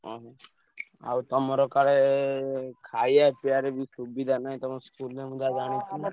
ଅହୋ। ଆଉ ତମର କାଳେ ଖାୟା ପିୟାରେ ବି ସୁବିଧା ନାହିଁ ତମ school ରେ ମୁଁ ଯାହା ଜାଣିଛି।